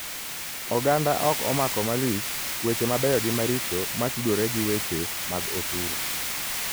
Oganda ok omako malich weche mabeyo gi maricho matudore gi weche mag osuru.